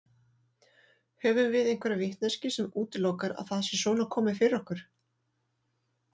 Höfum við einhverja vitneskju sem útilokar að það sé svona komið fyrir okkur?